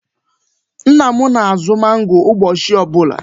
Nna m na-azụ mangoo ụbọchị ọ bụla.